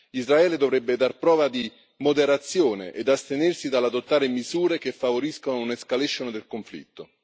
Israele dovrebbe dar prova di moderazione ed astenersi dall'adottare misure che favoriscono un'escalation del conflitto.